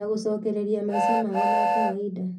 Na gũcokereria maica mao ma kawainda